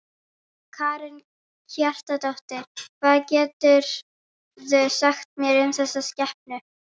Karen Kjartansdóttir: Hvað geturðu sagt mér um þessa skepnu?